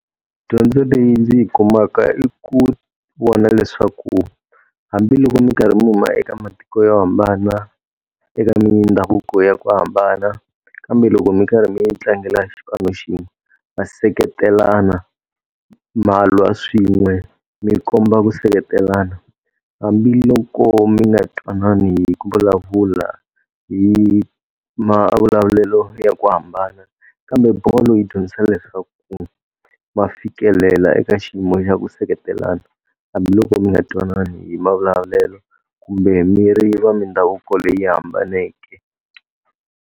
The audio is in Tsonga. Dyondzo leyi ndzi yi kumaka i ku vona leswaku hambiloko mi karhi mi huma eka matiko yo hambana, eka mindhavuko ya ku hambana, kambe loko mi karhi mi yi tlangela xipano xin'we, ma seketelana, ma lwa swin'we, mi komba ku seketelana. Hambiloko mi nga twanani hi ku vulavula hi mavulavulelo ya ku hambana, kambe bolo yi dyondzisa leswaku ma fikelela eka xiyimo xa ku seketelana. Hambiloko mi nga twanani hi mavulavulelo kumbe mi ri va mindhavuko leyi hambaneke.